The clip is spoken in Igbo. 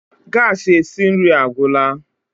gas esi nri agwụla